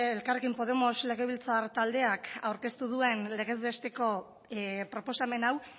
elkarrekin podemos legebiltzar taldeak aurkeztu duen legez besteko proposamen hau